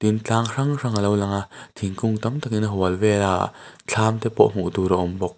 tlang hrang hrang a lo lang a thingkung tam takin a hual vel a thlam te pawh hmuh tur a awm bawk.